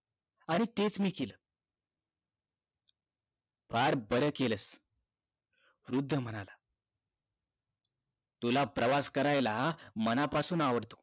आणि तेच मी केलं फार बार केलास वृद्ध म्हणाला तुला प्रवास करायला मनापासून आवडत